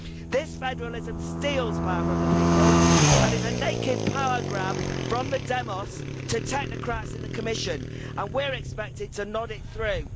This federalism steals power from the people and is a naked power grab from the demos to technocrats in the Commission, and we're expected to nod it through.